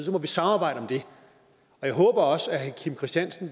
må vi samarbejde om det og jeg håber også at herre kim christiansen